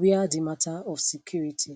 wia di mata of security